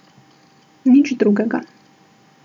Nič drugega.